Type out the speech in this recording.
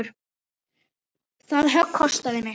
Það högg kostaði mig.